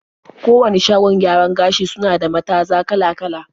Kowane shagon gyaran gashi suna da mataza kala-kala.